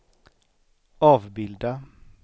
avbilda